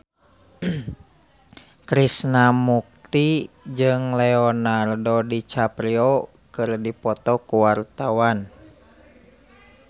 Krishna Mukti jeung Leonardo DiCaprio keur dipoto ku wartawan